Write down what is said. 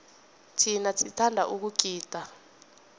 thina sithanda ukugida